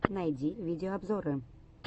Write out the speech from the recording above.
найди видеообзоры